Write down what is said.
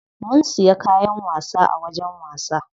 Mun siya kayan wasa a wajen wasa.